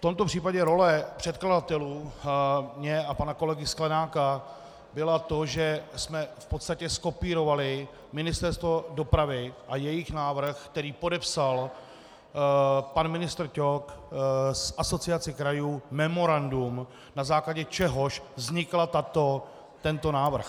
V tomto případě role předkladatelů, moje a pana kolegy Sklenáka, byla to, že jsme v podstatě zkopírovali Ministerstvo dopravy a jejich návrh, který podepsal pan ministr Ťok, z Asociace krajů memorandum, na základě čehož vznikl tento návrh.